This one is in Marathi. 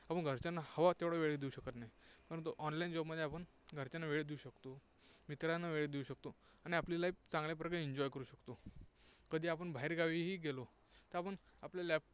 आपण घरच्यांना हवा तेवढा वेळ देऊ शकत नाही. परंतु online job मध्ये आपण घरच्यांना वेळ देऊ शकतो. मित्रांना वेळ देऊ शकतो आणि आपली life चांगल्या प्रकारे enjoy करू शकतो. कधी आपण बाहेर गावीही गेलो तर आपण आपल्या laptop